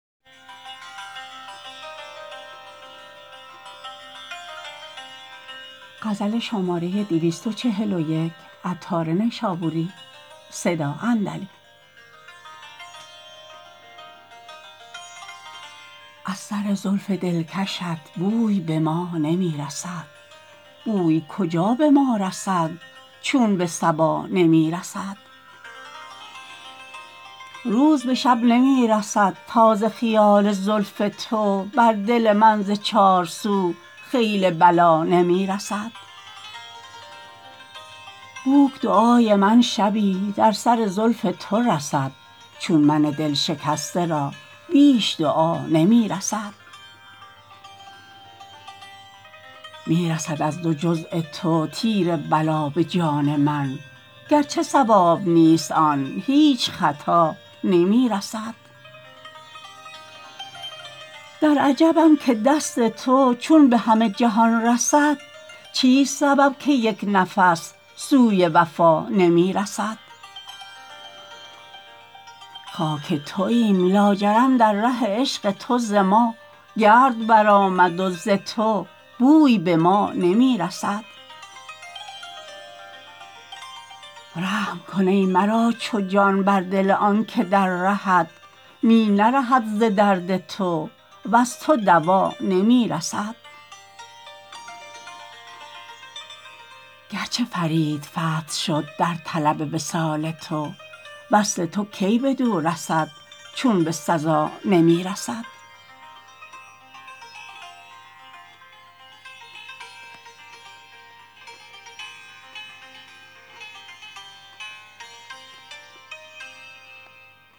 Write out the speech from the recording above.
از سر زلف دلکشت بوی به ما نمی رسد بوی کجا به ما رسد چون به صبا نمی رسد روز به شب نمی رسد تا ز خیال زلف تو بر دل من ز چارسو خیل بلا نمی رسد بوک دعای من شبی در سر زلف تو رسد چون من دلشکسته را بیش دعا نمی رسد می رسد از دو جزع تو تیر بلا به جان من گرچه صواب نیست آن هیچ خطا نمی رسد در عجبم که دست تو چون به همه جهان رسد چیست سبب که یک نفس سوی وفا نمی رسد خاک توییم لاجرم در ره عشق تو ز ما گرد برآمد و ز تو بوی به ما نمی رسد رحم کن ای مرا چو جان بر دل آنکه در رهت می نرهد ز درد تو وز تو دوا نمی رسد گرچه فرید فرد شد در طلب وصال تو وصل تو کی بدو رسد چون به سزا نمی رسد